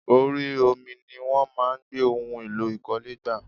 Orí omi ní wọ́n máa ń gbé ohun èlò ìkọ́lé gbà.